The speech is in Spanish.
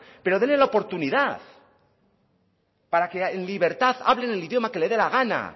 pero dele la oportunidad para que en libertad hablen el idioma que le dé la gana